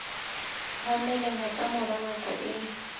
tshwaneleha ka mora nako e